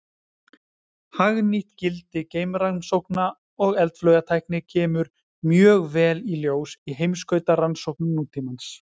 Hagnýtt gildi geimrannsókna og eldflaugatækni kemur mjög vel í ljós í heimskautarannsóknum nútímans.